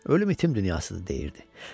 "Ölüm itim dünyasıdır" deyirdi.